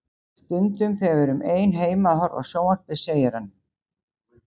Stundum þegar við erum ein heima að horfa á sjónvarpið segir hann